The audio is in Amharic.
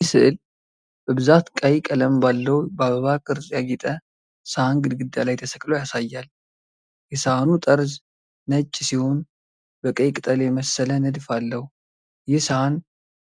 ይህ ሥዕል በብዛት ቀይ ቀለም ባለው፣ በአበባ ቅርጽ ያጌጠ ሰሃን ግድግዳ ላይ ተሰቅሎ ያሳያል። የሰሃኑ ጠርዝ ነጭ ሲሆን በቀይ ቅጠል የመሰለ ንድፍ አለው። ይህ ሰሃን